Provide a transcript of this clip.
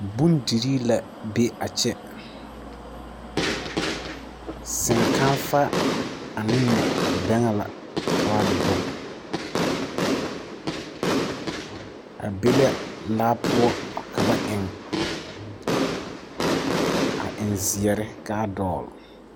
Bondirii la be a kyɛ, senkaaƒa ane bɛŋɛ la ka ba doge, a be la laa poɔ ka ba eŋ, a eŋ zeɛre ka a dogle. 13418